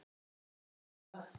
Hugsið um það.